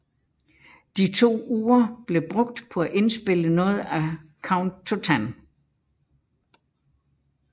De to uger blev brugt på at indspille noget af Count to Ten